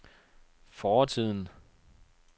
fortiden